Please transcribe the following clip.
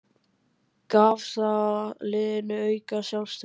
Gaf það liðinu aukið sjálfstraust?